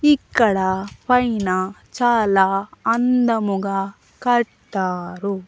ఇక్కడ పైన చాలా అందముగా కట్టారు.